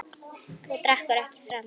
Þú drekkur ekki framar.